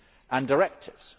and directives.